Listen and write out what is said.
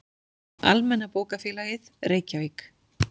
Almenna bókafélagið, Reykjavík.